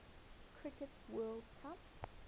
cricket world cup